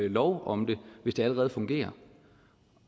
en lov om det hvis det allerede fungerer